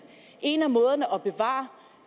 en af måderne